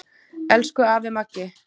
Elsku afi Maggi.